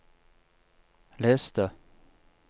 les det